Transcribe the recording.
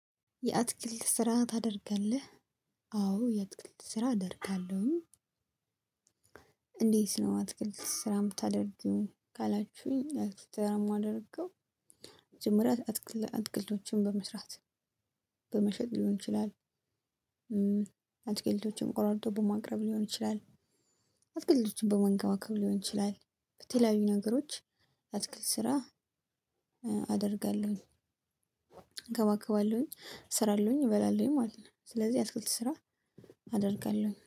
የአትክልት ስራ ታደርጋለህ? አዎ የአትክልት ስራ አደርጋለሁኝ። እንዴት ነው አትክልት ስራ የምታደርጊው ካላችሁኝ አትክልት ስራ እማደርገው። መጀመሪያ አትክልቶችን በመስራት በመሸጥ ሊሆን ይችላል። አትክልቶችን ቆራርጦ በማቅረብ ሊሆን ይችላል። አትክልቶችን በመንከባከብ ሊሆን ይችላል በተለያዩ ነገሮች አትክልት ስራ። አደርጋለሁ እንከባከባለሁኝ እስራሉኝ እበላለሁኝ ማለት ነው። ስለዚህ የአትክልት ስራ አደርጋለሁኝ